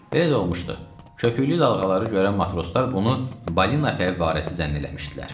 Belə də olmuşdu, köpüklü dalğaları görən matroslar bunu balina fəvvarəsi zənn eləmişdilər.